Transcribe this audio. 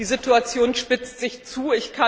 Die Situation spitzt sich zu.